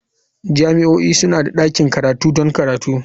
Jami'o'i suna da ɗakin karatu don karatu.